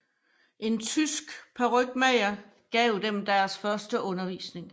En tysk parykmager gav dem deres første undervisning